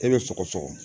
E bɛ sɔgɔsɔgɔ